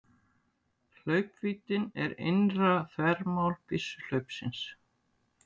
Hlaupvíddin er innra þvermál byssuhlaupsins.